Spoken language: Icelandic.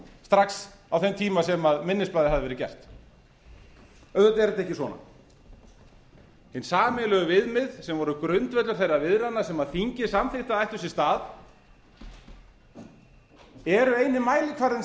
strax á þeim tíma sem minnisblaðið hafði verið gert auðvitað er þetta ekki svona hin sameiginlegu viðmið sem voru grundvöllur þeirra viðræðna sem þingið samþykkti að ættu sér stað eru eini mælikvarðinn